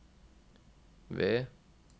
ved